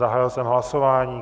Zahájil jsem hlasování.